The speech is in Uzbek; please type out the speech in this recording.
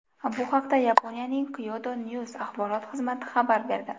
Bu haqda Yaponiyaning Kyodo News axborot xizmati xabar berdi .